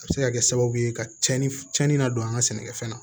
A bɛ se ka kɛ sababu ye ka tiɲɛni cɛnni na don an ka sɛnɛkɛfɛn na